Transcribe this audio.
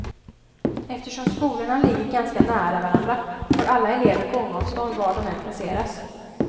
Eftersom skolorna ligger ganska nära varandra får alla elever gångavstånd, var de än placeras.